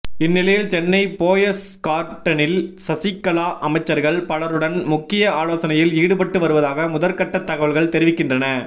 இந்நிலையில் சென்னை போயஸ்கார்டனில் சசிகலா அமைச்சர்கள் பலருடன் முக்கிய ஆலோசனையில் ஈடுபட்டு வருவதாக முதற் கட்ட தகவல்கள் தெரிவிக்கின்றன